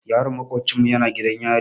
Yaron maƙofcinmu yana gidan yari.